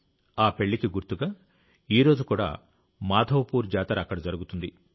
ఆ పెళ్ళికి గుర్తుగా ఈ రోజు కూడా మాధవపూర్ జాతర అక్కడ జరుగుతుంది